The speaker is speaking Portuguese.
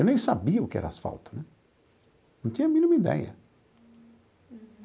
Eu nem sabia o que era asfalto né, não tinha a mínima ideia.